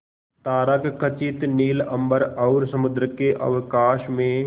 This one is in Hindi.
तारकखचित नील अंबर और समुद्र के अवकाश में